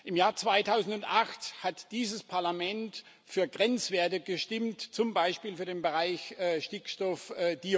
Im Jahr 2008 hat dieses Parlament für Grenzwerte gestimmt, zum Beispiel für den Bereich Stickstoffdioxyd.